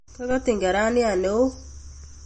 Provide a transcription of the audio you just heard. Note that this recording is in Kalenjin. Kakatin karaniat newoo